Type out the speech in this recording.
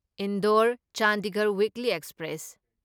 Indore Chandigarh weekly express